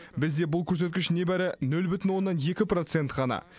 бізде бұл көрсеткіш небәрі нөл бүтін оннан екі процент қана